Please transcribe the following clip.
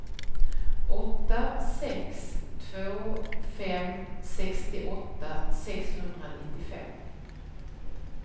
åtta sex två fem sextioåtta sexhundranittiofem